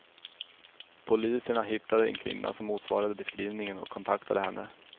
Poliserna hittade en kvinna som motsvarade beskrivningen och kontaktade henne.